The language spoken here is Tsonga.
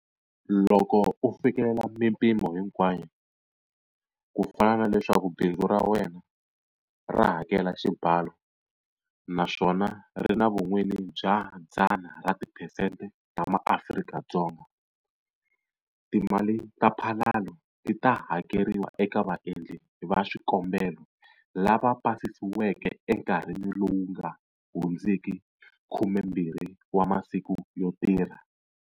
Loko u fikelela mipimo hinkwayo, ku fana na leswaku bindzu ra wena ra hakela xibalo naswona ri na vun'wini bya 100 ra tiphesente ta maAfrika-Dzonga, timali ta mphalalo ti ta hakeriwa eka vaendli va swikombelo lava pasisiweke enkarhini lowu nga hundziki 12 wa masiku yo tirha.